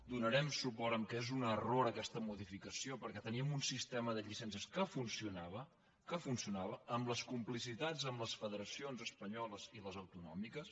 donarem suport al fet que és un error aquesta modificació perquè teníem un sistema de llicències que funcionava que funcio·nava amb les complicitats amb les federacions es·panyoles i les autonòmiques